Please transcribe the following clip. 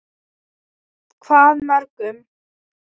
Hvað mörgum?